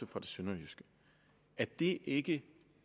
fra det sønderjyske er det ikke